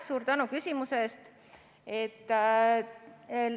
Suur tänu küsimuse eest!